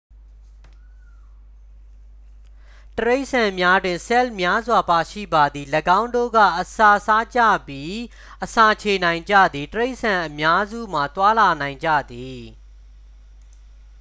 တိရစ္ဆာန်များတွင် ဆဲလ်များစွာ ပါရှိပါသည် ၎င်းတို့က အစာစားကြပြီး အစာချေနိုင်ကြသည် တိရစ္ဆာန်အများစုမှာ သွားလာနိုင်ကြသည်